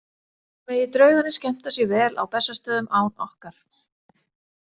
Megi draugarnir skemmta sér vel á Bessastöðum án okkar.